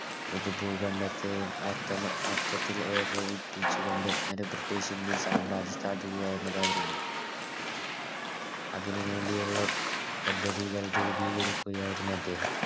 ഒര് ഭൂഖണ്ഡത്തെ മൊത്തം മൊത്തത്തിൽ ഏകോപിപ്പിച്ചുകൊണ്ട് ഒര് British indian സാമ്രാജ്യം സ്ഥാപിക്കുക എന്നതായിരുന്നു അതുനുവേണ്ടിയുള്ള പദ്ധതികൾ രൂപീകരിക്കുകയായിരുന്നു അദ്ദേഹം